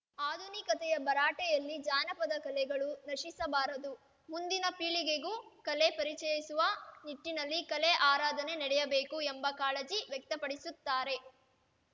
ಆಧುನಿಕತೆಯ ಭರಾಟೆಯಲ್ಲಿ ಜಾನಪದ ಕಲೆಗಳು ನಶಿಸಬಾರದು ಮುಂದಿನ ಪೀಳಿಗೆಗೂ ಕಲೆ ಪರಿಚಯಿಸುವ ನಿಟ್ಟಿನಲ್ಲಿ ಕಲೆ ಆರಾಧನೆ ನಡೆಯಬೇಕು ಎಂಬ ಕಾಳಜಿ ವ್ಯಕ್ತಪಡಿಸುತ್ತಾರೆ